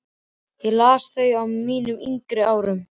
Ég las þau á mínum yngri árum.